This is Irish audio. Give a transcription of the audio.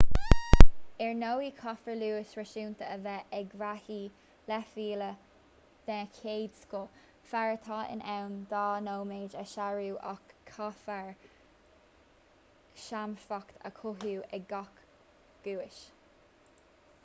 ar ndóigh caithfear luas réasúnta a bheith ag reathaí leathmhíle den chéad scoth fear atá in ann dhá nóiméad a shárú ach caithfear seasmhacht a chothú ag gach guais